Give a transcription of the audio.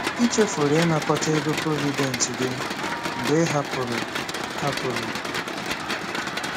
Ị chefuru ịnakọta ego Provident gị mgbe ị hapụrụ. ” hapụrụ. ”